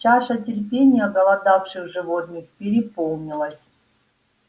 чаша терпения оголодавших животных переполнилась